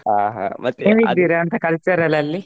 ಹಾ ಹೇಗಿದ್ದೀರಾ ಅಂತಾ culture ಲಲ್ಲಿ.